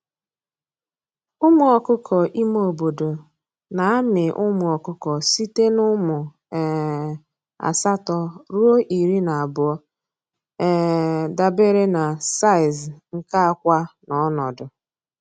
Ụmụ ọkụkọ ime obodo na-amị ụmụ ọkụkọ site n’ụmụ um asatọ ruo iri na abụọ, um dabere na size nke akwa na ọnọdụ.